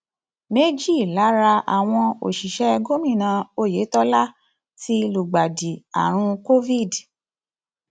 méjì lára àwọn òṣìṣẹ gómìnà oyetola ti lùgbàdì àrùn covid